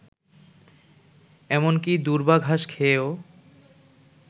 এমনকি দূর্বাঘাস খেয়েও